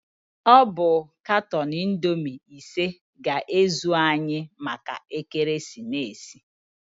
Ọ bụ katọn Indoomi ise ga-ezu anyị maka ekeresimeesi.